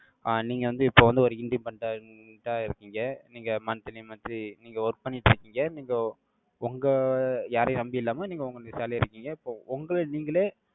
ஆஹ் நீங்க வந்து, இப்ப வந்து, ஒரு independent ஆ இருக்கீங்க. நீங்க monthly monthly நீங்க work பண்ணிட்டு இருக்கீங்க. நீங்க, உங்க, யாரையும் நம்பி இல்லாம, நீங்க, உங்க jolly யா இருக்கீங்க. இப்போ, உங்களை, நீங்களே,